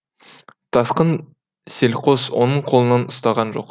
тасқын селқос оның қолынан ұстаған жоқ